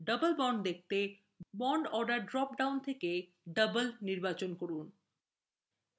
double bonds দেখাতে bonds order drop down থেকে double নির্বাচন করুন